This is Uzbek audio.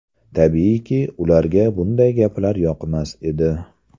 Tabiiyki, ularga bunday gaplar yoqmas edi.